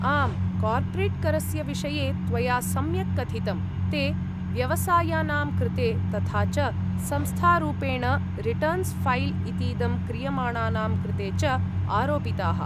आम्, कार्पोरेट्करस्य विषये त्वया सम्यक् कथितं, ते व्यवसायानां कृते, तथा च संस्थारूपेण रिटर्न्स् फैल् इतीदं क्रियमाणानां कृते च आरोपिताः।